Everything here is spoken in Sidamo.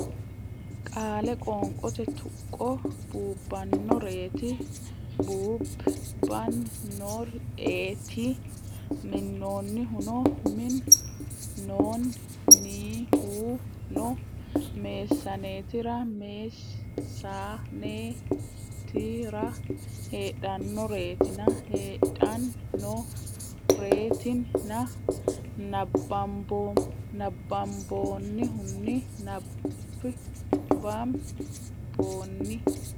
Qaale Qoonqote Tuqqo buubbannoreeti buub ban nor eeti minnoonnihuno min noon ni hu no meessaneetira mees sa nee ti ra heedhannoreetina hee dhan no ree tin na nabbamboonnihunni nab bam boon.